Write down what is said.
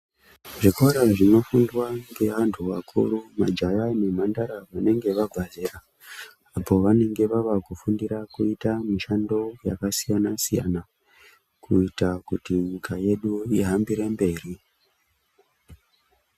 Zvikora zvinofundwa ngevantu vakuru majaya nemhandara vanenga vabva zera apo vanenge vakufundira kuita mushando yakasiyana siyana kuita kuti nyika yedu ihambire mberi.